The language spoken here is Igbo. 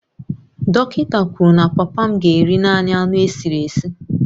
Dọkịta kwuru na papa m ga-eri naanị anụ esiri esi